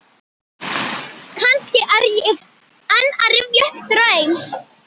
Kannski er ég enn að rifja upp draum.